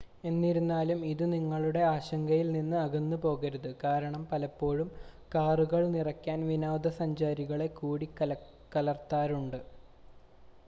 എന്നിരുന്നാലും ഇത് നിങ്ങളുടെ ആശങ്കയിൽ നിന്ന് അകന്നുപോകരുത് കാരണം പലപ്പോഴും കാറുകൾ നിറയ്ക്കാൻ വിനോദസഞ്ചാരികളെ കൂടിക്കലർത്താറുണ്ട്